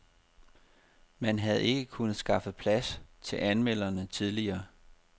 Man havde ikke kunnet skaffe plads til anmelderne tidligere.